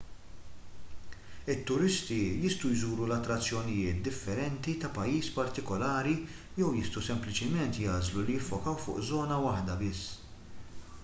it-turisti jistgħu jżuru l-attrazzjonijiet differenti ta' pajjiż partikulari jew jistgħu sempliċement jagħżlu li jiffokaw fuq żona waħda biss